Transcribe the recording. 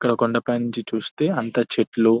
ఇక్కడ కొండపై నుంచి చూస్తే అంతా చెట్లు --